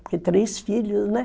Porque três filhos, né?